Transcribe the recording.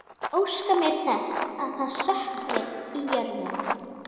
Óska mér þess að það sökkvi í jörðina.